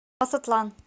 масатлан